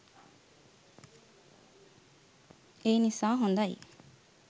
ඒ නිසා හොඳයි.